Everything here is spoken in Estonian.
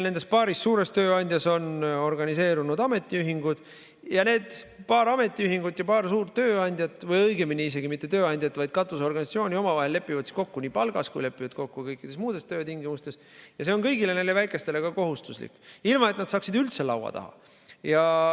Nendes paaris suures tööandjas on organiseerunud ametiühingud ja need paar ametiühingut ja paar suurt tööandjat või õigemini isegi mitte tööandjat, vaid katusorganisatsiooni lepivad omavahel kokku nii palgas kui ka kõikides töötingimustes ja see on kõigile neile väikestele kohustuslik, ilma et nad saaksid üldse laua taha.